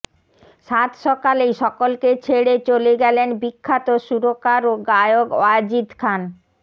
সাতসকালেই সকলকে ছেড়ে চলে গেলেন বিখ্যাত সুরকার ও গায়ক ওয়াজিদ খান